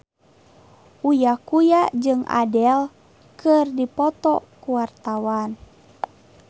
Uya Kuya jeung Adele keur dipoto ku wartawan